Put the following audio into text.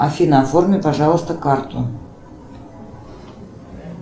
афина оформи пожалуйста карту